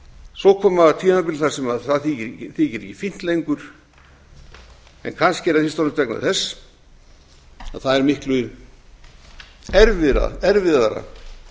svo koma tímabil þar sem það þykir ekki fínt lengur en kannski er það fyrst og fremst vegna þess að það er miklu erfiðara